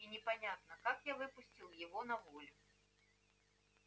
и я непонятно как выпустил его на волю